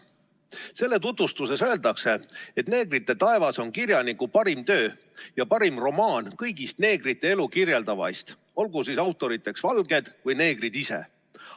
Selle tutvustuses öeldakse, et "Neegrite taevas" on kirjaniku parim töö ja parim romaan kõigist neegrite elu kirjeldavaist, olgu siis autoriteks valged või neegrid ise.